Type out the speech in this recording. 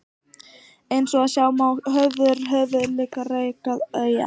Eins og sjá má er Hjörleifshöfði langt frá því að vera eyja.